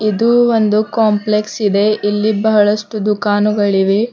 ಇದು ಒಂದು ಕಾಂಪ್ಲೆಕ್ಸ್ ಇದೆ ಇಲ್ಲಿ ಬಹಳಷ್ಟು ದುಃಖಾನುಗಳಿವೆ.